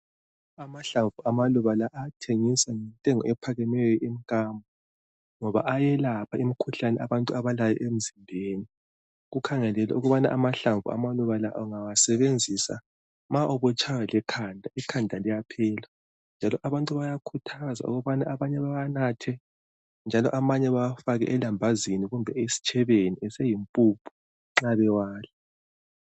Amahlamvu amaluba lawa ayathengiswa ngentengo ephakemeyo emkambo. Ngoba eyelapha imikhuhlane yabantu abalayo emzimbeni Kukhangelelwe ukuba amahlamvu amalubala ungawasebenzia ma ubutshaywa likhanda, ikhanda liyaphela. Njalo abantu bayakhuthazwa ukuthi amanye bewanathe njalo amanye bewafake elambazini kumbe esitshebeni eseyimpuphu nxa bewadla